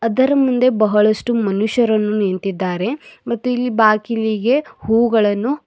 ಇದರ ಮುಂದೆ ಬಹಳಷ್ಟು ಮನುಷ್ಯರನ್ನು ನಿಂತಿದ್ದಾರೆ ಮತ್ತು ಇಲ್ಲಿ ಬಾಗಿಲಿಗೆ ಹೂಗಳನ್ನು--